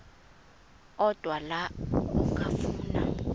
odwa la okafuna